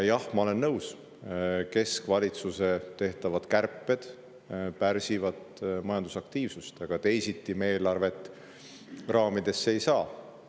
Jah, ma olen nõus, et keskvalitsuse tehtavad kärped pärsivad majandusaktiivsust, aga teisiti me eelarvet raamidesse ei saa.